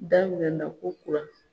Damiɛna kokura